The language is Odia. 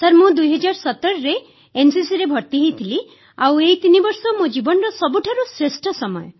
ସାର୍ ମୁଁ 2017ରେ ଏନସିସିରେ ଭର୍ତ୍ତି ହୋଇଥିଲି ଏବଂ ଏହି ତିନିବର୍ଷ ମୋ ଜୀବନର ସବୁଠାରୁ ଶ୍ରେଷ୍ଠ ସମୟ